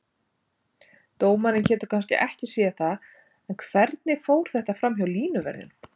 Dómarinn getur kannski ekki séð það, en hvernig fór þetta framhjá línuverðinum?